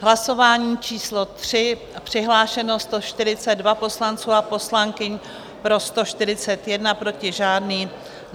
V hlasování číslo 3 přihlášeno 142 poslanců a poslankyň, pro 141, proti žádný.